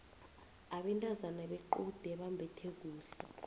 abantazana bequde bambethe kuhle